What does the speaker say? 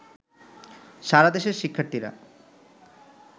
সারা দেশের শিক্ষার্থীরা